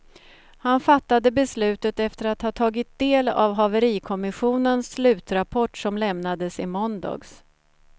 Han fattade beslutet efter att ha tagit del av haverikommissionens slutrapport som lämnades i måndags.